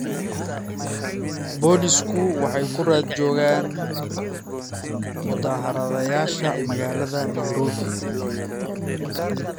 Booliisku waxay ku raad joogaan mudaharaadayaasha magaalada Nairobi.